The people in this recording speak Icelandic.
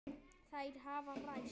Þær hafa ræst.